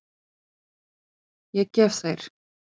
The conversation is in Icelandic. Ég gef þær.